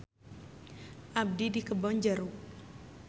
Abdi di Kebon Jeruk.